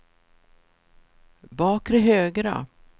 bakre högra